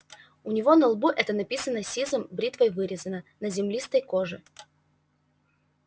у него на лбу это написано сизым бритвой вырезано на землистой коже